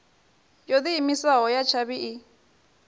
yo diimisaho ya tshavhi i